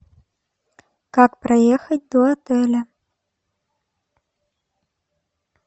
как проехать до отеля